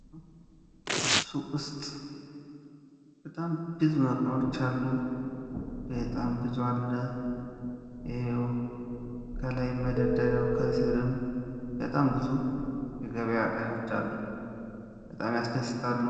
ሱቁ ውስጥ በጣም ብዙ እቃዎች አሉ። ብዙ አለ። እየው ከላይ መደርደሪያው ከስርም በጣም ብዙ የገበያ እቃዎች አሉ። በጣም ያስደስታሉ።